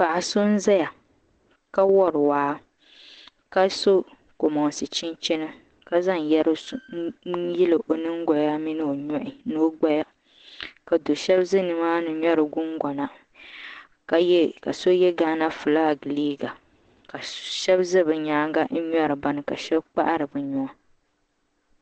Paɣa so n ʒɛya ka wori waa ka so kanbonsi chinchina ka zaŋ yɛri n yili o nyingoya mini o nuhi ni o gbaya ka do shab ʒɛ nimaani ŋmɛri gungona ka so yɛ gaana fulak liiga ka shab ʒɛ bi nyaanga n ŋmɛri bini ka shab kpahari bi nuwa